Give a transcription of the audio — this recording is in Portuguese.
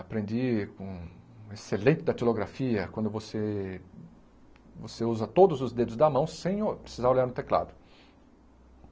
Aprendi com excelente datilografia, quando você você usa todos os dedos da mão sem o precisar olhar no teclado.